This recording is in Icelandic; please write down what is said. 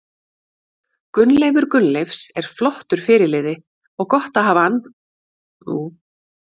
Gunnleifur Gunnleifs er flottur fyrirliði og gott að hafa hann fyrir aftan sig Sætasti sigurinn?